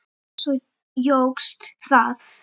Svo jókst það.